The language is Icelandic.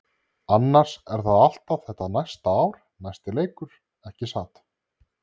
Annars er það alltaf þetta næsta ár-næsti leikur, ekki satt?